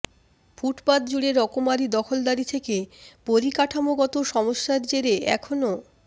ফুটপাত জুড়ে রকমারি দখলদারি থেকে পরিকাঠামোগত সমস্যার জেরে এখনও